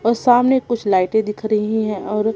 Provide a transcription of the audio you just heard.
अ सामने कुछ लाइटे दिख रही है और--